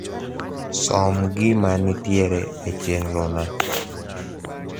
som gima ntiere e chenro na